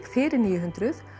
fyrir níu hundruð